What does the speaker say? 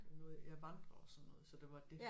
Jeg nåede jeg vandrer og sådan noget så det var dét